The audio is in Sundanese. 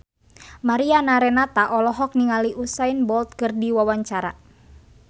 Mariana Renata olohok ningali Usain Bolt keur diwawancara